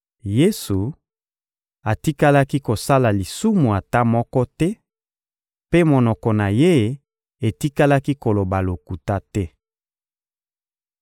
Yesu atikalaki kosala lisumu ata moko te, mpe monoko na Ye etikalaki koloba lokuta te.